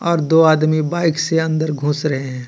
और दो आदमी बाईक से अंदर घुस रहे हे.